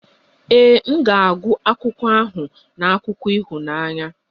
Ee, m ga-agụ akwụkwọ ahụ na akụkọ ịhụnanya